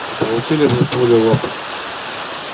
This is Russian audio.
и получили бы пулю в лоб